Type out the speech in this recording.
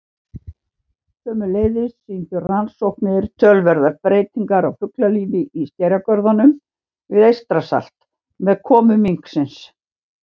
Sömuleiðis sýndu rannsóknir töluverðar breytingar á fuglalífi í skerjagörðum við Eystrasalt með komu minksins.